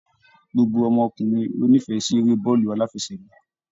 Gbogbo ọmọkùnrin lo n'ifẹ sí èrè bàálù alafẹ̀sẹ̀gba.